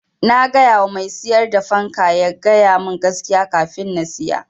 Na gayawa mai siyar da fanka ya ga yamin gaskiya kafin na siya.